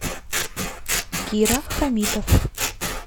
кира хамитов